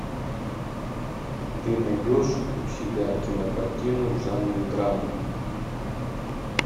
ты найдешь у себя кинокартину в жанре драма